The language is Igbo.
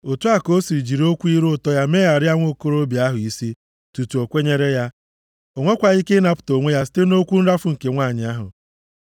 Otu a ka o si jiri okwu ire ụtọ ya megharịa nwokorobịa ahụ isi tutu o kwenyere ya. O nwekwaghị ike ịnapụta onwe ya site nʼokwu nrafu nke nwanyị ahụ.